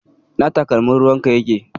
Ina takalmin ruwanka yake?